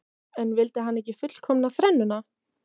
En vildi hann ekki fullkomna þrennuna?